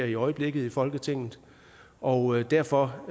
i øjeblikket i folketinget og derfor